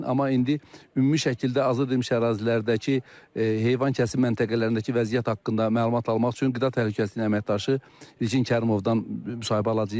Amma indi ümumi şəkildə azad edilmiş ərazilərdəki heyvan kəsim məntəqələrindəki vəziyyət haqqında məlumat almaq üçün Qida Təhlükəsizliyi əməkdaşı İlkin Kərimovdan müsahibə alacağıq.